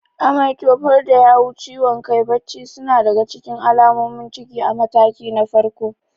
Amai, tofar da yawu, ciwon kai, bacci suna daga cikin alamomin ciki a mataki na farko.